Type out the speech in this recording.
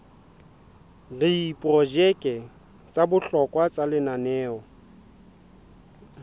diprojeke tsa bohlokwa tsa lenaneo